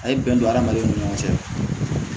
A ye bɛn don hadamadenw ni ɲɔgɔn cɛ